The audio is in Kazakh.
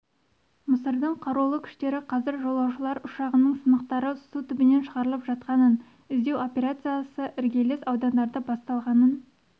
мысырдың қарулы күштері қазір жолаушылар ұшағының сынықтары су түбінен шығарылып жатқанын іздеу операциясы іргелес аудандарда басталғанын